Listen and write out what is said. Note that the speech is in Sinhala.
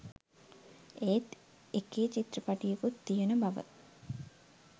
ඒත් එකේ චිත්‍රපටියකුත් තියෙන බව